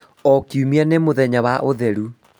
O kiumia nĩ mũthenya wa ũtheru